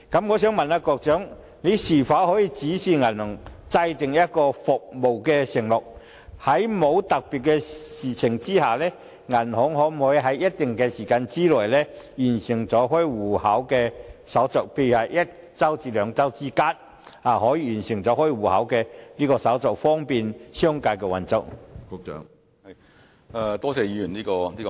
我想問局長，當局可否指示銀行制訂一項服務承諾，訂明在沒有特別情況下，銀行可在一定時間內完成開戶手續，例如是一周至兩周，以方便商界運作呢？